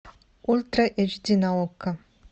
ультра эйч ди на окко